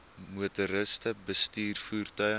motoriste bestuur voertuie